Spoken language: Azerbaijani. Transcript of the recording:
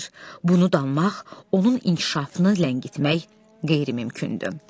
Bunu danmaq onun inkişafını ləngitmək qeyri-mümkündür.